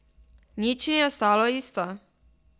Nič ni ostalo isto.